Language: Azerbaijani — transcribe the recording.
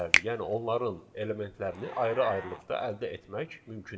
Yəni onların elementlərini ayrı-ayrılıqda əldə etmək mümkündür.